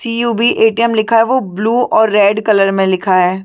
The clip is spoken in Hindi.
सी_यु_बी एटीएम लिखा है ओ ब्लू और रेड कलर मे लिखा है।